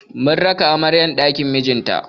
Mun raka amaryar ɗakin mijinta.